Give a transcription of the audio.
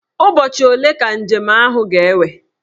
Ụbọchị ole ka njem ahụ ga-ewe?